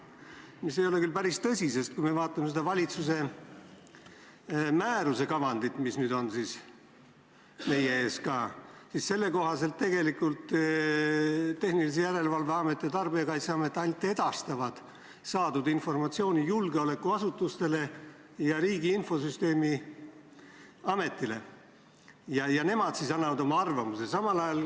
See ei ole küll päris tõsi, sest kui me vaatame seda valitsuse määruse kavandit, mis nüüd on meie ees, siis selle kohaselt tegelikult Tarbijakaitse ja Tehnilise Järelevalve Amet ainult edastavad saadud informatsiooni julgeolekuasutustele ja Riigi Infosüsteemi Ametile ning nemad annavad oma arvamuse.